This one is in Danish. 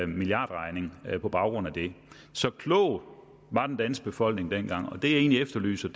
milliardregning på baggrund af det så klog var den danske befolkning dengang det jeg egentlig efterlyser